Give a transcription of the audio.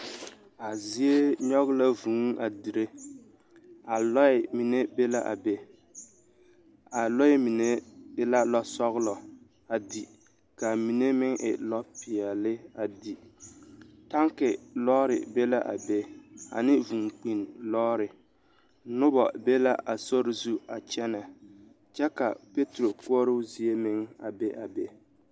A zie nyɔɡe la vūū a dire a lɔɛ mine be la a be a lɔɛ mine e la lɔsɔɡelɔ a di ka a mine meŋ e lɔpeɛle a di tanki lɔɔre be la a be ane vūūkpinni lɔɔre noba be la a sori zu a kyɛnɛ kyɛ ka peeturo koɔroo zie meŋ a be a be.